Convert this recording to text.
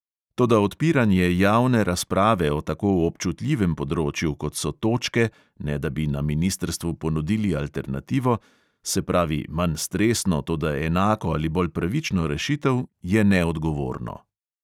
Toda odpiranje javne razprave o tako občutljivem področju, kot so točke, ne da bi na ministrstvu ponudili alternativo, se pravi manj stresno, toda enako ali bolj pravično rešitev, je neodgovorno.